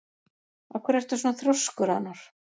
Af hverju ertu svona þrjóskur, Anor?